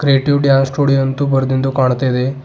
Creative dance studio ಎಂದು ಬರ್ದಿಂದು ಕಾಣ್ತಾ ಇದೆ.